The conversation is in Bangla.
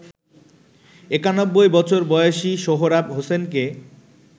৯১ বছর বয়সী সোহরাব হোসেনকে